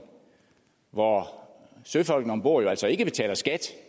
hvor søfolkene om bord altså ikke betaler skat